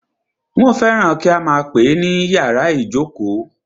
Wọ́n fẹ́ràn kí a máà pè é ní ìyàrá ìjókó.